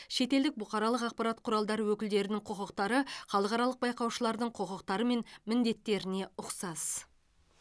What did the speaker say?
шетелдік бұқаралық ақпарат құралдары өкілдерінің құқықтары халықаралық байқаушылардың құқықтары мен міндеттеріне ұқсас